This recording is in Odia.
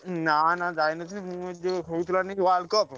ନା ନା ଯାଇ ନ ଥିଲି ମୁଁ ଯୋଉ ହଉନଥିଲା World Cup ।